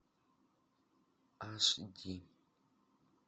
аш ди